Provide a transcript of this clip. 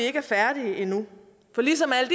ikke er færdige endnu for ligesom alle